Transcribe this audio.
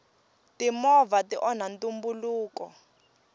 timovha ti onha ntumbuluko